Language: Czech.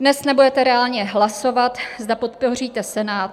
Dnes nebudete reálně hlasovat, zda podpoříte Senát.